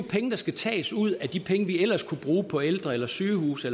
penge der skal tages ud af de penge vi ellers kunne bruge på de ældre eller sygehuse